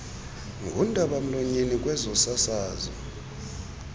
ngundaba mlonyeni kwezosasazo